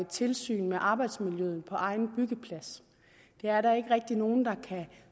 tilsyn med arbejdsmiljøet på egen byggeplads det er der ikke rigtig nogen der